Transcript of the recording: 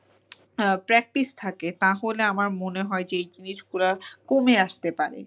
practice থাকে তাহলে আমার মনে হয় যে এই জিনিসগুলা কমে আসতে পারে।